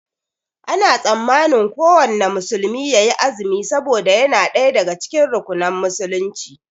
Ana tsammanin kuwanna musulmi yayi azumi saboda yana ɗaya daga cikin rukunan musulunci